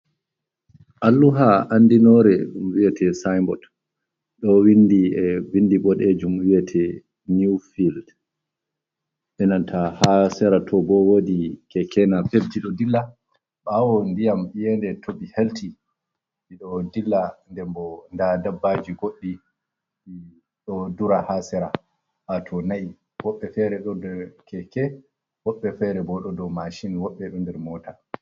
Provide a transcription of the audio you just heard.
Alluha andinore ɗum wiete sinbod, ɗo windi e bindi boɗejum wiete niw fild, e nanta ha sera to bo woodi keke-napepji ɗo dilla, ɓawo ndiyam yende toɓi helti, ɗi ɗo dilla, nden boo nda dabbaaji goɗɗi ɗi ɗo dura ha sera, wato na'i, woɓɓe fere ɗo nder keke woɓɓe fere bo ɗo dow mashin, woɓɓe ɗo nder moota.